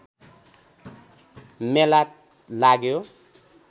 मेला लाग्यो